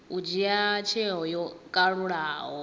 u dzhia tsheo yo kalulaho